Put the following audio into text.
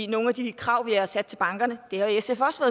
nogle af de krav vi har sat til bankerne det har sf også